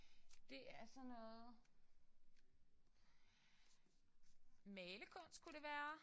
Det er sådan noget malekunst kunne det være